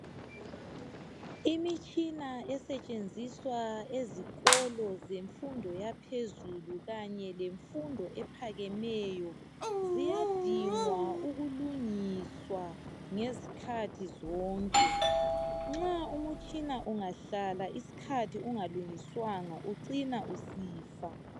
Imitshina esetshenziswa ezikolo zemfundo ephezulu kanye lemfundo ephakemeyo iyadinga ukulungiswa izikhathi zonke. Nxa umtshina ungahlala isikhathi eside ungalungiswa ucina usifa.